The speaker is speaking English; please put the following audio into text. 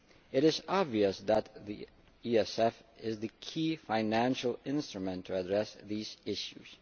It is obvious that the ESF is the key financial instrument to address these issues.